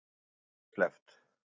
Þremur hefur verið sleppt